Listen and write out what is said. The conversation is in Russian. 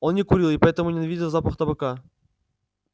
он не курил и поэтому ненавидел запах табака